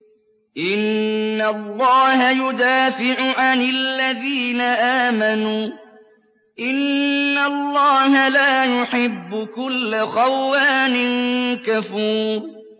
۞ إِنَّ اللَّهَ يُدَافِعُ عَنِ الَّذِينَ آمَنُوا ۗ إِنَّ اللَّهَ لَا يُحِبُّ كُلَّ خَوَّانٍ كَفُورٍ